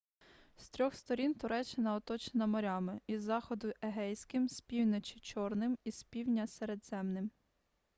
з трьох сторін туреччина оточена морями із заходу егейським з півночі чорним і з півдня середземним